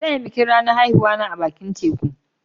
Zan yi bikin ranan haihuwa na a'bakin tekun.